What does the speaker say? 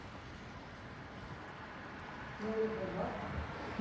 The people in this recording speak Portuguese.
E aí ele foi embora?